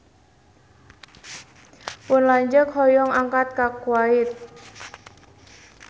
Pun lanceuk hoyong angkat ka Kuwait